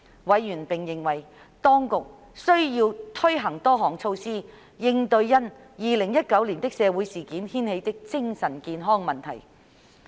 委員並認為，當局需要推行多項措施，應對因2019年的社會事件掀起的精神健康問題。